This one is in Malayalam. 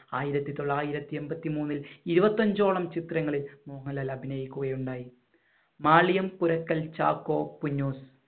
ആയിരത്തി തൊള്ളായിരത്തി എൺപത്തി മൂന്നിൽ ഇരുപത്തി അഞ്ചോളം ചിത്രങ്ങളിൽ മോഹൻലാൽ അഭിനയിക്കുകയുണ്ടായി. മാളികം പുരക്കൽ ചാക്കോ കുഞ്ഞോൻ